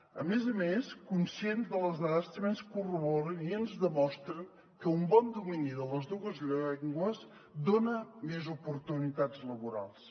a més a més conscients de les dades també ens corroboren i ens demostren que un bon domini de les dues llengües dona més oportunitats laborals